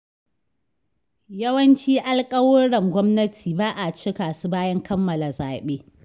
Yawancin alƙawuran gwamnati ba a cika su bayan kammala zaɓe.